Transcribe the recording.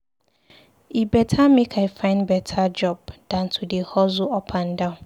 E beta make I find beta job dan to dey hustle up and down.